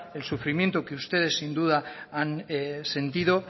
el sufrimiento que ustedes sin duda han sentido